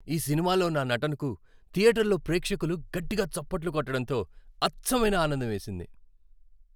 ఈ సినిమాలో నా నటనకు థియేటర్లో ప్రేక్షకులు గట్టిగా చప్పట్లు కొట్టటంతో అచ్చమైన ఆనందం వేసింది.